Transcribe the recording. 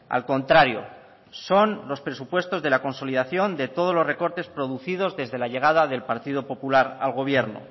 al contrario son los presupuestos de la consolidación de todos los recortes producidos desde la llegada del partido popular al gobierno